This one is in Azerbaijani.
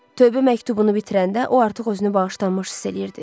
Tövbə məktubunu bitirəndə o artıq özünü bağışlanmış hiss eləyirdi.